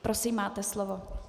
Prosím, máte slovo.